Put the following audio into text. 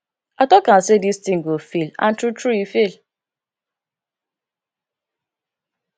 i talk am say dis thing go fail and true true e fail